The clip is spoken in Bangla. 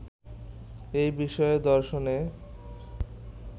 এ বিষয়ে দর্শনে